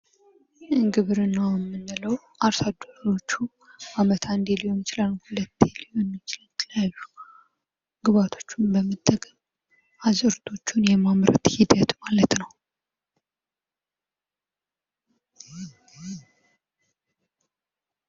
ግብርና የምንለው አርሶ አደሮች በዓመት አንድ ጊዜ ሊሆን ይችላል ወይም ሁለቴ ሊሆን ይችላል የተለያዩ ግብዐቶችን በመጠቀም አዝዕርቶችን የሚያምረቱበት ሂደት ማለት ነው።